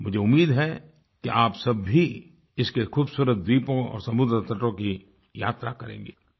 मुझे उम्मीद है कि आप सब भी इसके खुबसूरत द्वीपों और समुद्र तटों की यात्रा करेंगे